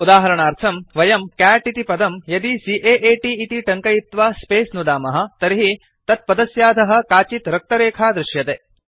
उदाहरणार्थम् वयं कैट् इति पदं यदि C A A T इति टङ्कयित्वा स्पेस नुदामः तर्हि तत्पदस्याधः काचित् रक्तरेखा दृश्यते